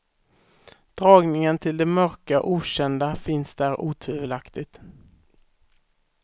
Dragningen till det mörka, okända finns där otvivelaktigt.